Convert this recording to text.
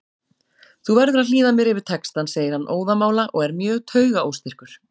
Þú verður að hlýða mér yfir textann, segir hann óðamála og er mjög taugaóstyrkur.